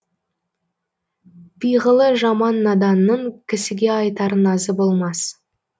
пиғылы жаман наданның кісіге айтар назы болмас